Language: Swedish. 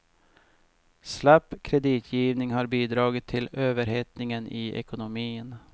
Slapp kreditgivning har bidragit till överhettningen i ekonomin.